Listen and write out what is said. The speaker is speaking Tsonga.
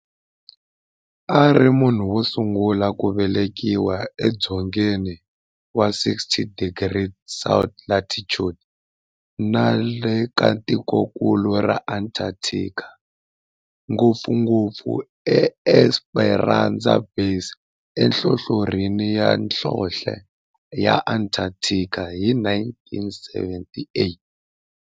ari munhu wosungula ku velekiwa e dzongeni wa 60 degrees south latitude nale ka tikonkulu ra Antarctic, ngopfungopfu e Esperanza Base enhlohlorhini ya nhlonhle ya Antarctic hi 1978.